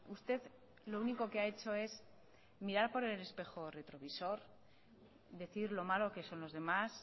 usted lo único que ha hecho es mirar por el espejo retrovisor decir lo malo que son los demás